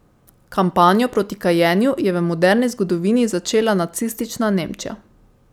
Kampanjo proti kajenju je v moderni zgodovini začela nacistična Nemčija.